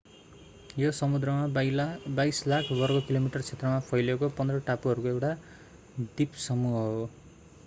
यो समुद्रमा 22 लाख वर्ग किलोमिटर क्षेत्रमा फैलिएको 15 टापुहरूको एउटा द्वीपसमूह हो